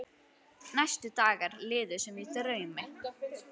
Næstu dagar liðu sem í draumi.